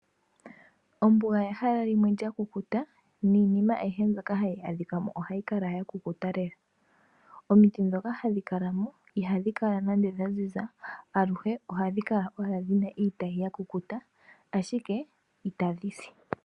Ombuga ehala limwe lyakukuta, niinima ayihe mbyono hayj adhika mo ohayi kala yakukuta lela. Omiti ndhoka hadhi kala mo ihadhi kala nande dhaziza, aluhe ohadhi kala owala dhina iitayi yakukuta ashike itadhi si.